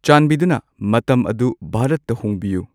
ꯆꯥꯟꯕꯤꯗꯨꯅ ꯃꯇꯝ ꯑꯗꯨ ꯚꯥꯔꯠꯇ ꯍꯣꯡꯕꯤꯌꯨ